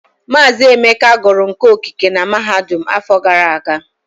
Mazị Emeka gụrụ nka okike na mahadum afọ gara aga.